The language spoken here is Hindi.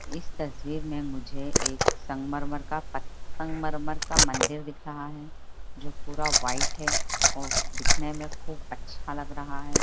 इस तस्वीर में मुझे एक संगमरमर का पत संगमरमर का मंदिर दिख रहा है जो पूरा व्हाइट है और दिखने में खूब अच्छा लग रहा है।